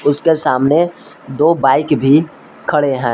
उसके सामने दो बाइक भी खड़े हैं।